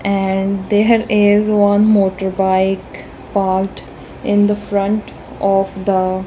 and there is one motor bike parked in the front of the.